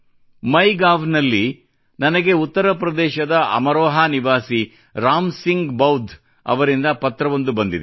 MyGov ನಲ್ಲಿ ನನಗೆ ಉತ್ತರ ಪ್ರದೇಶದಲ್ಲಿ ಅಮರೋಹಾ ನಿವಾಸಿ ರಾಮ್ ಸಿಂಗ್ ಬೌದ್ಧ್ ಅವರಿಂದ ಪತ್ರವೊಂದು ಬಂದಿದೆ